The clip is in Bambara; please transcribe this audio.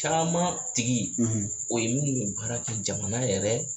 Caman tigi o ye minnu mi baara kɛ jamana yɛrɛ